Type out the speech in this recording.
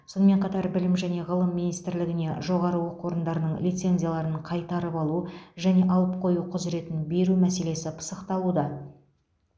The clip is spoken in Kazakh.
сонымен қатар білім және ғылым министрлігіне жоғары оқу орындарының лицензияларын қайтарып алу және алып қою құзыретін беру мәселесі пысықталуда